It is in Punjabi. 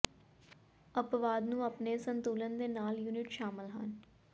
ਅਪਵਾਦ ਨੂੰ ਆਪਣੇ ਸੰਤੁਲਨ ਦੇ ਨਾਲ ਯੂਨਿਟ ਸ਼ਾਮਲ ਹਨ